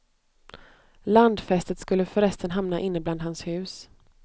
Landfästet skulle förresten hamna inne bland hans hus.